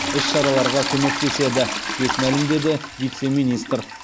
іс шараларға көмектеседі деп мәлімдеді вице министр